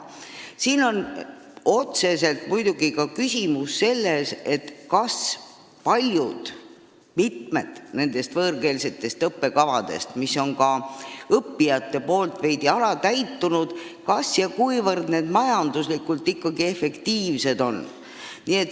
Siin on muidugi otseselt küsimus selleski, kas ja kuivõrd mitmed võõrkeelsed õppekavad, mis on ka õppijate mõttes veidi alatäitunud, majanduslikult ikkagi efektiivsed on.